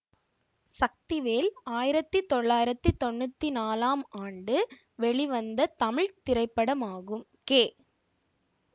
சக்திவேல் ஆயிரத்தி தொள்ளாயிரத்தி தொன்னூற்தி நாளம் ஆண்டு வெளிவந்த தமிழ் திரைப்படமாகும் கே